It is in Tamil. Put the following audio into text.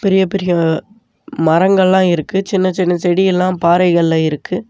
பெரிய பெரிய மரங்கள்லா இருக்கு சின்ன சின்ன செடி எல்லா பாறைகள்ல இருக்கு.